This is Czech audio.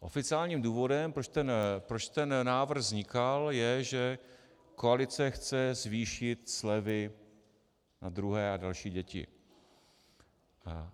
Oficiálním důvodem proč tento návrh vznikal, je, že koalice chce zvýšit slevy na druhé a další děti.